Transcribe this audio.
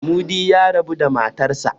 Mudi ya rabu da matarsa.